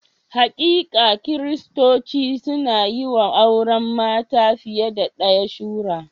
Hakika, Kiristoci sun yi wa auren mata fiye da ɗaya shura.